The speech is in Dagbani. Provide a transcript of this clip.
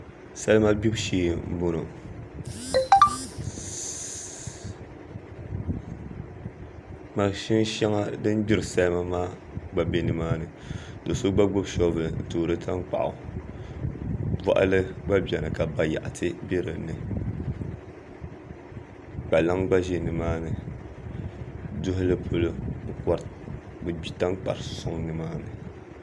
Salima gbibu shee n boŋo mashin shɛŋa din gbiri salima maa gba bɛ nimaani do so gba gbubi soobuli n toori tankpaɣu boɣali gba biɛni ka bayaɣati bɛ dinni kpalaŋ gba ʒɛ nimaani duhuli polo bi gbi tankpari soŋ nimaani